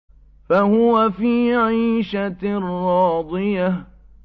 فَهُوَ فِي عِيشَةٍ رَّاضِيَةٍ